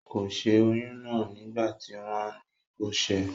Kò sẹ́ oyún náà nígbà tí wọ́n ní kó sẹ́ ẹ